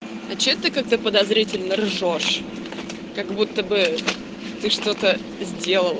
а что ты как-то подозрительно ржёшь как будто бы ты что-то сделала